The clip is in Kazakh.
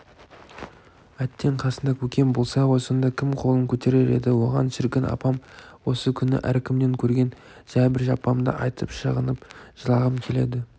әттең қасында көкем болса ғой сонда кім қолын көтерер еді оған шіркін апам осы күні әркімнен көрген жәбір-жапамды айтып шағынып жылағым келеді